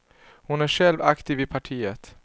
Hon är själv aktiv i partiet.